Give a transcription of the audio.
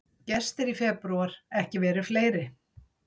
Gestir í febrúar ekki verið fleiri